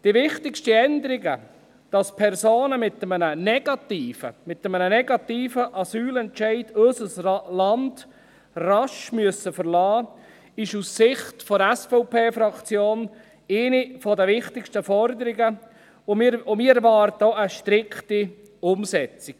Die wichtigsten Änderungen, dass Personen mit einem negativen – mit einem negativen! – Asylentscheid unser Land rasch verlassen müssen, ist aus Sicht der SVP-Fraktion eine der wichtigsten Forderungen, und wir erwarten auch eine strikte Umsetzung.